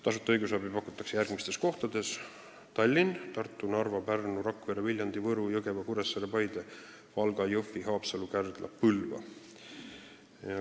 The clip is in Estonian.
Tasuta õigusabi pakutakse järgmistes kohtades: Tallinn, Tartu, Narva, Pärnu, Rakvere, Viljandi, Võru, Jõgeva, Kuressaare, Paide, Valga, Jõhvi, Haapsalu, Kärdla ja Põlva.